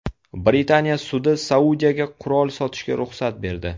Britaniya sudi Saudiyaga qurol sotishga ruxsat berdi.